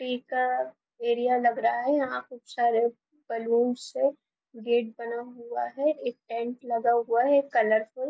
T का area लग रहा है यहां पे बहुत सारे बलूनस से गेट बना हुआ है एक टेंट लगा हुआ है एक कलरफुल --